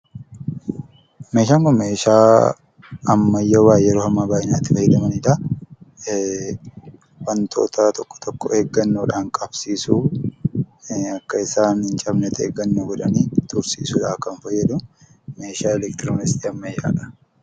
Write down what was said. Meeshaan kun meeshaa ammayyaawaa yeroo ammaa baay'inaan itti fayyadamanidha. wantoota tokko tokko eeggannoodhaan qabsiisuu akka isaan hin cabnetti eeggannoodhaan tursiisuudhaaf kan fayyadu meeshaa elektirooniksii ammayyaadha.